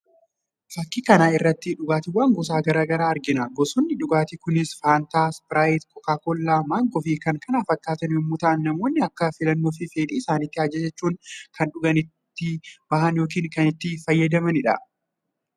Fakkii kana irraatti dhugaatiiwwan gosa gara garaa argina. Gosoonni dhugaatii kunis "Fanta, Sprite, Coca-Cola, Mango" fi kan kana fakkaatan yommuu ta'an namoonni akka filannoo fi fedhii isaaniitti ajajachuun kan dhumma itti bahan yookiin kan itti fayyadamanidha.